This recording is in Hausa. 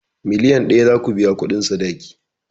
Miliyan ɗaya zaku biya kuɗin sadaki